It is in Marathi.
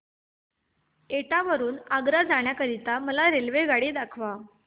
एटा वरून आग्रा जाण्या करीता मला रेल्वेगाडी दाखवा